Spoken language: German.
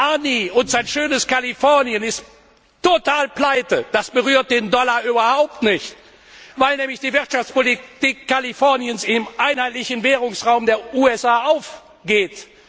Arni und sein schönes Kalifornien sind total pleite, aber das berührt den Dollar überhaupt nicht, weil nämlich die Wirtschaftspolitik Kaliforniens im einheitlichen Währungsraum der USA aufgeht.